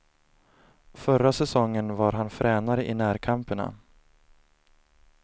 Förra säsongen var han fränare i närkamperna.